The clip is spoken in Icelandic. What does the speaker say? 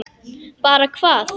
Bara hvað?